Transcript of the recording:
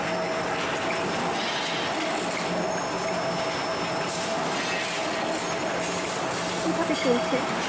এইভাবে চলছে।